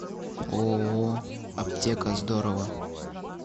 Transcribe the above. ооо аптека здорово